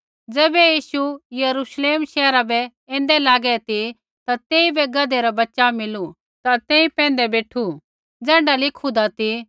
ज़ैबै यीशु यरूश्लेम शैहरा बै ऐन्दै लागै ती ता तेइबै गधै रा बच्च़ा मिलू ता तेई पैंधै बेठू ज़ैण्ढा लिखुन्दा ती